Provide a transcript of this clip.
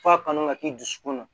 F'a kanu ka k'i dusukun na